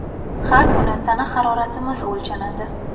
Har kuni tana haroratimiz o‘lchanadi.